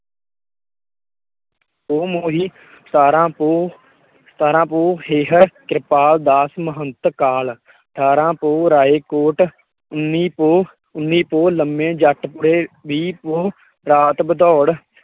ਸਤਾਰ੍ਹਾਂ ਪੋਹ ਮਹੰਤ ਕਾਲ, ਠਾਰਾ ਪੋਹ ਰਾਏਕੋਟ, ਉਨੀ ਉਨੀ ਪੋਹ ਲੰਮੇ ਜੱਟ ਪੂਰੇ, ਵੀਹ ਪੋਹ, ਰਾਤ ਬਦੋੜ